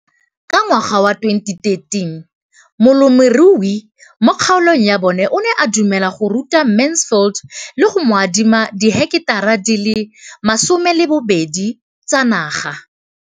Ka ngwaga wa 2013, molemirui mo kgaolong ya bona o ne a dumela go ruta Mansfield le go mo adima di heketara di le 12 tsa naga.